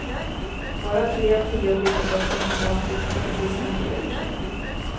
Bara tre av tio bilderböcker handlar om flickor, visar en ny undersökning.